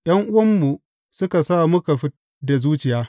’Yan’uwanmu suka sa muka fid da zuciya.